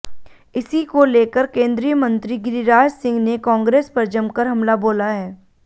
इसी को लेकर केंद्रीय मंत्री गिरिराज सिंह ने कांग्रेस पर जमकर हमला बोला है